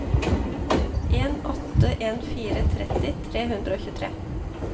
en åtte en fire tretti tre hundre og tjuetre